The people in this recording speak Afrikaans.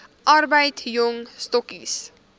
arbeid jong stokkies